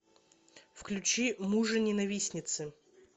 включи мужененавистницы